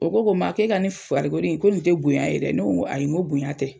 O ko ko Ma k'e ka nin farikolo in ko nin te bonya ye dɛ, ne ko ŋo ayi ŋo bonya tɛ.